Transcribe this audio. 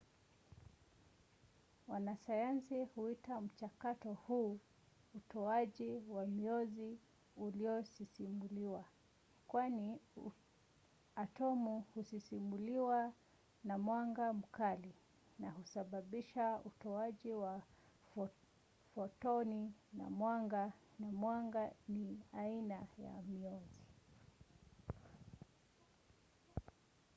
wanasayansi huita mchakato huu utoaji wa mionzi uliosisimuliwa kwani atomu husisimuliwa na mwanga mkali na kusababisha utoaji wa fotoni ya mwanga na mwanga ni aina ya mionzi